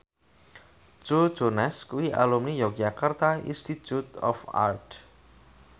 Joe Jonas kuwi alumni Yogyakarta Institute of Art